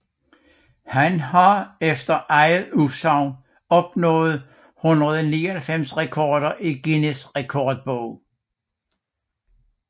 Han har efter eget udsagn opnået 199 rekorder i Guinness Rekordbog